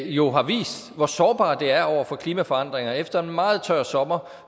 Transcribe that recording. jo har vist hvor sårbart det er over for klimaforandringer efter en meget tør sommer